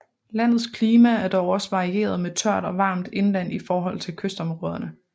Landets klima er dog også varieret med tørt og varmt indland i forhold til kystområderne